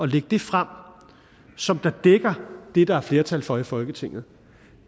lægge det frem som der dækker det der er flertal for i folketinget